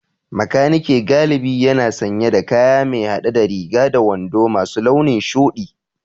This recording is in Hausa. Makaniki galibi yana sanye da kaya mai hade da riga da wando masu launin shudi